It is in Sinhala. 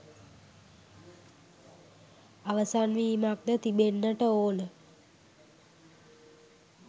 අවසන් වීමක් ද තිබෙන්නට ඕන.